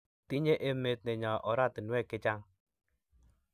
tinye emet nenyo oratinwek chechang